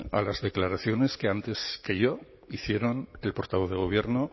a las declaraciones que antes que yo hicieron el portavoz de gobierno